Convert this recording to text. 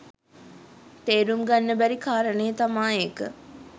තේරුම් ගන්න බැරි කාරණේ තමා ඒක.